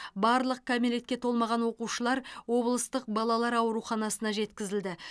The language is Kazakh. барлық кәмелетке толмаған оқушылар облыстық балалар ауруханасына жеткізілді